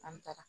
An taara